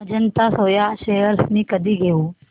Ajanta soya shares मी कधी घेऊ